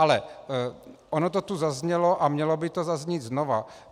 Ale ono to tu zaznělo a mělo by to zaznít znovu.